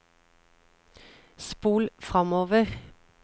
spol framover